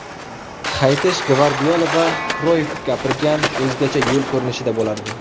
Qaytish Gvardiola va Kroyff gapirgan o‘zgacha yo‘l ko‘rinishida bo‘lardi.